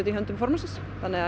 í höndum formannsins þannig að